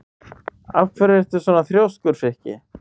Af hverju ertu svona þrjóskur, Frikki?